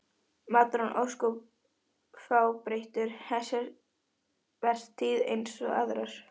Maturinn var ósköp fábreyttur þessa vertíð eins og aðrar.